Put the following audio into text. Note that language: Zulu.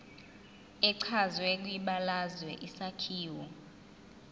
echazwe kwibalazwe isakhiwo